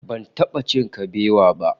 Ban taba cin kabewa ba